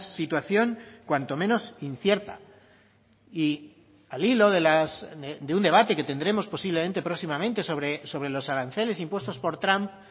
situación cuanto menos incierta y al hilo de un debate que tendremos posiblemente próximamente sobre los aranceles impuestos por trump